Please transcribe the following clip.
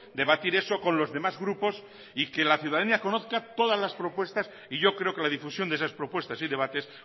debatir eso con los demás grupos y que la ciudadanía conozca todas las propuestas y yo creo que la difusión de esas propuestas y debates